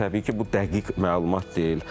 Lakin təbii ki, bu dəqiq məlumat deyil.